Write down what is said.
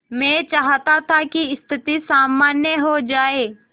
मैं चाहता था कि स्थिति सामान्य हो जाए